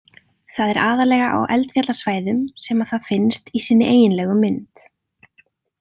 Það er aðallega á eldfjallasvæðum sem að það finnst í sinni eiginlegu mynd.